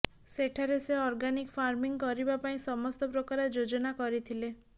ସେଠାରେ ସେ organic farming କରିବା ପାଇଁ ସମସ୍ତ ପ୍ରକାର ଯୋଜନା କରିଥିଲେ